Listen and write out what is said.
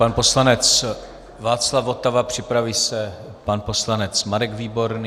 Pan poslanec Václav Votava, připraví se pan poslanec Marek Výborný.